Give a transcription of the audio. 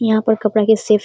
यहाँ पर कपड़ा की सेफ --